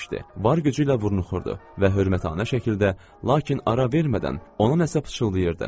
Var gücü ilə burnu xordudu və hörmətanə şəkildə, lakin ara vermədən ona nəsə pıçıldayırdı.